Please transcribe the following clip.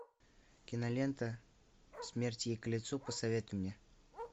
кинолента смерть ей к лицу посоветуй мне